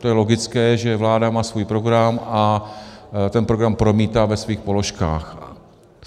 To je logické, že vláda má svůj program a ten program promítá ve svých položkách.